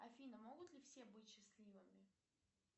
афина могут ли все быть счастливыми